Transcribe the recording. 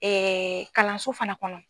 kalanso fana kɔnɔ.